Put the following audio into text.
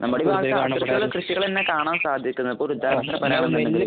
കൃഷികൾ തന്നെ കാണാൻ സാധിക്കുന്നത്. ഇപ്പോൾ